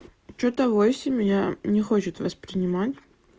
что-то восемь я не хочет воспринимать